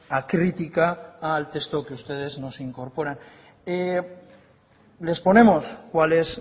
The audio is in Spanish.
acrítica al texto que ustedes nos incorporan les ponemos cuál es